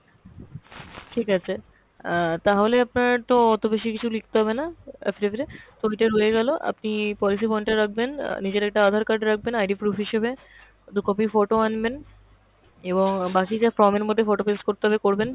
ঠিক আছে, অ্যাঁ তাহলে আপনার তো অত বেশিকিছু লিখতে হবেনা affidavit এ, রয়ে গেলো, আপনি policy bond টা রাখবেন, অ্যাঁ নিজের একটা aadhar card রাখবেন ID proof হিসেবে, দু copy photo আনবেন এবং বাকি যা form এর মধ্যে photo paste করতে হবে করবেন,